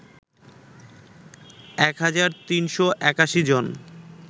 ১ হাজার ৩৮১ জন